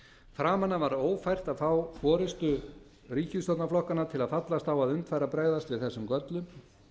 framan af var ófært að fá forustu ríkisstjórnarflokkanna til að fallast á að unnt væri að bregðast við þessum göllum